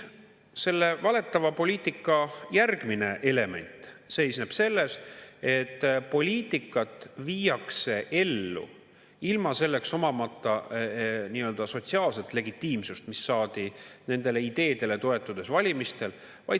Selle valetava poliitika järgmine element seisneb selles, et poliitikat viiakse ellu ilma omamata sotsiaalset legitiimsust, mis oleks saadud valimistel nendele ideedele toetudes.